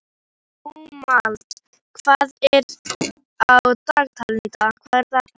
Dómald, hvað er á dagatalinu í dag?